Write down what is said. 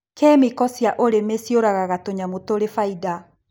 Kĩmĩko cia ũrĩmi ciũragaga tũnyamũ tũrĩ bainda.